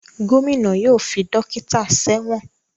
Gómìnà yóò fi dókítà sẹ́wọ̀n